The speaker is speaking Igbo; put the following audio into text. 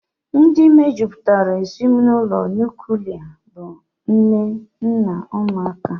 Ndị mejupụtara ezinụlọ nuklia bụ nna, nne na ụmụ ha